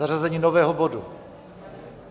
Zařazení nového bodu.